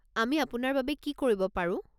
আমি আপোনাৰ বাবে কি কৰিব পাৰো?